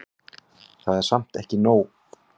Það var samt ekki nóg.